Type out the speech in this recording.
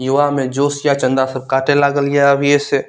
युवा में जोश या चंदा सब काटे लागल या अभिये से।